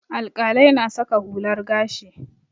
Alƙalai na saka hular gashi.